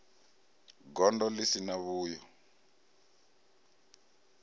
gondo ḽi si na vhuyo